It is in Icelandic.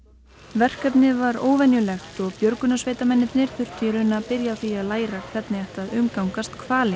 verkefnið var óvenjulegt og björgunarsveitarmennirnir þurftu í raun að byrja á því að læra hvernig á að umgangast hvali